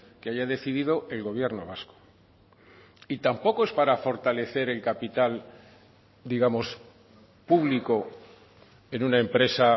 que haya decidido el gobierno vasco y tampoco es para fortalecer el capital digamos público en una empresa